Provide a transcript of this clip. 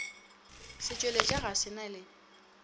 setšweletša ga se na le